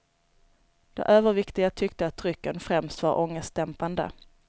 De överviktiga tyckte att drycken främst var ångestdämpande.